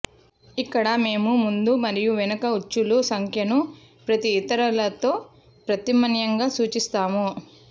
ఇక్కడ మేము ముందు మరియు వెనుక ఉచ్చులు సంఖ్యను ప్రతి ఇతర తో ప్రత్యామ్నాయంగా సూచిస్తాము